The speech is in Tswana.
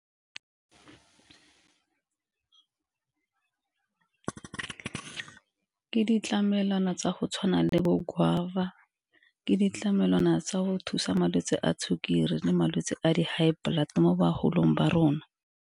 Ke ditlamelwana tsa go tshwana le bo guava, ke ditlamelwana tsa go thusa malwetsi a sukiri le malwetse a di-high blood mo bagolong ba rona.